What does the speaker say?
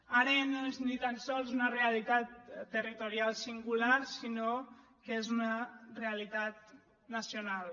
ara ja no és ni tan sols una realitat territorial singular sinó que és una realitat nacional